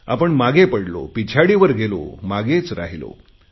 आपण मागे पडलो पिछाडीवर गेलो मागेच राहिलो